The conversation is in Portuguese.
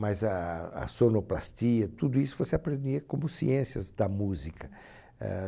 mas ah a sonoplastia, tudo isso você aprendia como ciências da música éh